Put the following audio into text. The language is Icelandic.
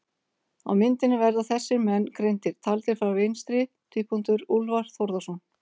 Á myndinni verða þessir menn greindir, taldir frá vinstri: Úlfar Þórðarson